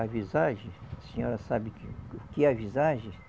A visagem, a senhora sabe que o que é visagem?